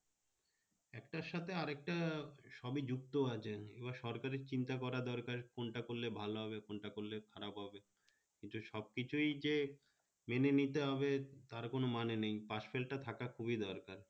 তার সাথে আরেকটা সবি যুক্ত আছে তোমার সরকারি চিন্তা করা দরকার কোনটা করলে ভাল হবে কোনটা করলে খারাপ হবে, তো সবকিছুই যে মেনে নিতে হবে তার কোনো মানে নেই pass-fail টা থাকা খুবই দরকার